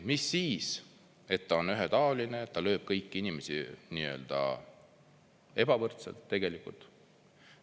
" Mis siis, et ta on ühetaoline, ta lööb kõiki inimesi ebavõrdselt tegelikult.